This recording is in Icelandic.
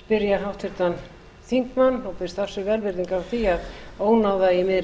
spyrja háttvirtan þingmann og biðst velvirðingar á því að ónáða í miðri